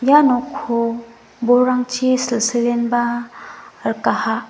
ia nokko bolrangchi silsilenba rikaha.